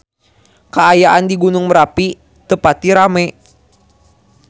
Kaayaan di Gunung Merapi teu pati rame